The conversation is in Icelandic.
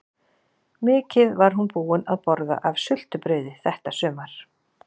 Mikið var hún búin að borða af sultu- brauði þetta sumar!